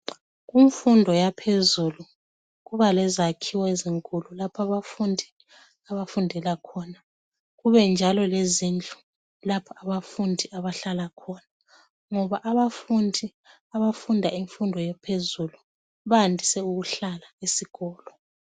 Kumfundo yaphezulu kubalezakhiwo ezinkulu lapho abafundi abafundela khona kubenjalo lezindlu lapho abafundi abahlala khona ngoba abafundi abafunda imfundo ephezulu bandise ukuhlala esikolo.